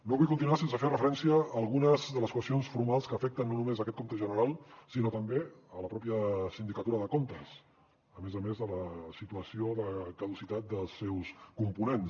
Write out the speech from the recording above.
no vull continuar sense fer referència a algunes de les qüestions formals que afecten no només aquest compte general sinó també la pròpia sindicatura de comptes a més a més de la situació de caducitat dels seus components